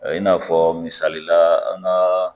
I n'a fɔ misalila an ka